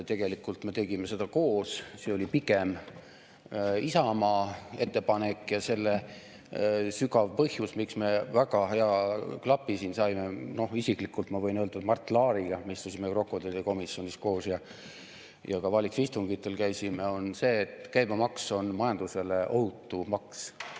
Tegelikult me tegime seda koos, see oli pigem Isamaa ettepanek ja selle sügav põhjus, miks me väga hea klapi siin saime, on see – no isiklikult ma võin öelda, et Mart Laariga me istusime krokodillide komisjonis koos ja ka valitsuse istungitel käisime –, et käibemaks on majandusele ohutu maks.